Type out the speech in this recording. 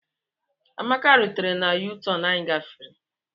Amaka rituru na U-turn anyị gafere.